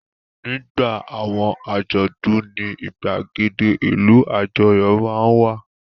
Nígbà àwọn àjọ̀dún ní ìgbàgede ìlú àjọyọ̀ máa ń wà.